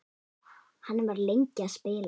Hann var lengi að spila.